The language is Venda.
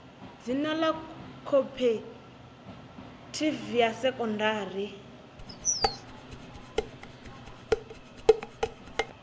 dzina ḽa khophorethivi ya sekondari